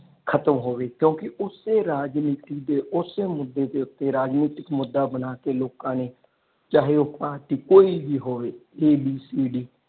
ਖਤਮ ਹੋਵੇ ਕਿਉਂਕਿ ਓਸੇ ਰਾਜਨੀਤੀ ਦੇ ਓਸੇ ਮੁਦੇ ਦੇ ਉਤੇ ਰਾਜਨੀਤਿਕ ਮੁਦਾ ਬਣਾ ਕੇ ਲੋਕਾਂ ਨੇ ਚਾਹੇ ਉਹ ਪਾਰਟੀ ਕੋਈ ਵੀ ਹੋਵੇ ABCD.